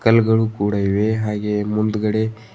ಕಲ್ಗಳು ಕೂಡ ಇವೆ ಹಾಗೆ ಮುಂದುಗಡೆ--